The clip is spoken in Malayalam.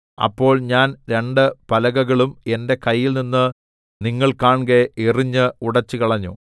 അപ്പോൾ ഞാൻ രണ്ടു പലകകളും എന്റെ കയ്യിൽനിന്ന് നിങ്ങൾ കാൺകെ എറിഞ്ഞ് ഉടച്ചുകളഞ്ഞു